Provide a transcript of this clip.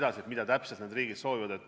Ma ei tea, mida täpselt need riigid soovivad.